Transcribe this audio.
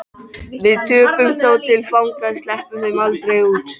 Við tökum þá til fanga. sleppum þeim aldrei út.